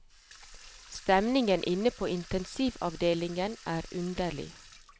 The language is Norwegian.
Stemningen inne på intensivavdelingen er underlig.